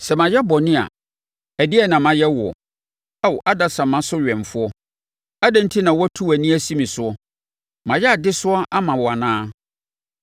Sɛ mayɛ bɔne a, ɛdeɛn na mayɛ woɔ, Ao adasamma so wɛmfoɔ? Adɛn enti na watu wʼani asi me soɔ? Mayɛ adesoa ama wo anaa?